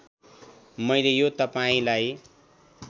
मैल यो तपाईँंलाई